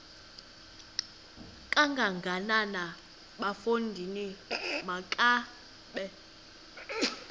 kangakanana bafondini makabe